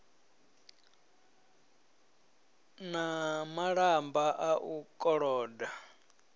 na malamba a u koloda